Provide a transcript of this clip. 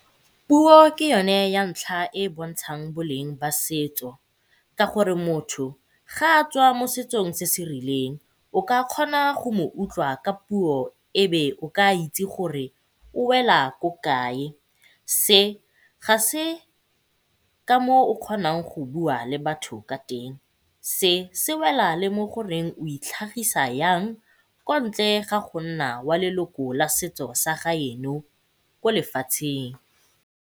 Puo ke yone ya ntlha e e bontshang boleng ba setso ka gore motho ga a tswa mo setsong se se rileng o ka kgona go mo utlwa ka puo ebe o ka itse gore o wela ko kae. Se ga se ka moo o kgonang go bua le batho ka teng. Se se wela le mo go reng o itlhagisa yang kwa ntle ga go nna wa la setso sa gaeno ko lefatsheng.